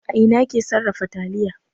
A ina ake sarrafa taliya?